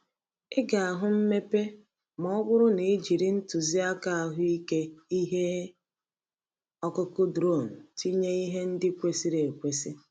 Ị ga-ahụ mmepe ma ọ bụrụ na i jiri ntụziaka ahụike ihe ọkụkụ drone tinye ihe ndị kwesịrị ekwesị.